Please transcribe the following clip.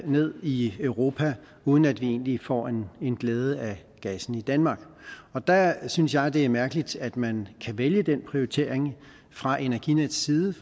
ned i europa uden at vi egentlig får glæde af gassen i danmark der synes jeg det er mærkeligt at man kan vælge den prioritering fra energinets side